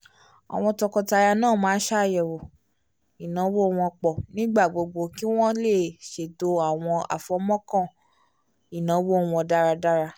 àwọn tọkọtaya náà máa ń ṣàyẹ̀wò ináwó wọ́n pọ̀ nígbà gbogbo kí wọ́n lè ṣètò àwọn àfọ̀mọ́ọ̀kàn ináwó wọ́n dáradára